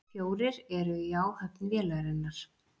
Fjórir eru í áhöfn vélarinnar